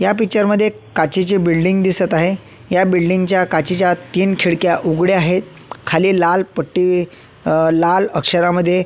या पिक्चर मध्ये एक काचेची बिल्डींग दिसत आहे या बिल्डींग च्या काचेच्या तीन खिडक्या उघड्या आहेत खाली लाल पट्टी अ लाल अक्षरामध्ये--